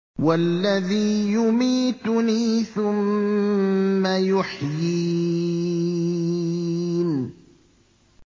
وَالَّذِي يُمِيتُنِي ثُمَّ يُحْيِينِ